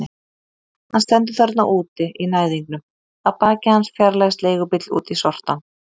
Hann stendur þarna úti í næðingnum, að baki hans fjarlægist leigubíll út í sortann.